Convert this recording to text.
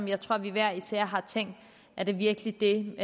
jeg tror vi hver især har tænkt er det virkelig det